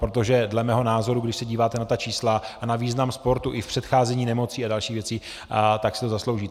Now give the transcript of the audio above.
Protože dle mého názoru, když se díváte na ta čísla a na význam sportu i v předcházení nemocí a dalších věcí, tak si to zaslouží.